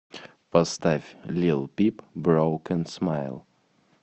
поставь лил пип броукен смайл